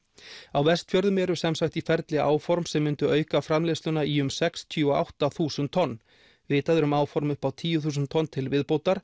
á Vestfjörðum eru sem sagt í ferli áform sem myndu auka framleiðsluna í um sextíu og átta þúsund tonn vitað er um áform upp á tíu þúsund tonn til viðbótar